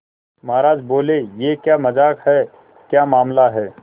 महाराज बोले यह क्या मजाक है क्या मामला है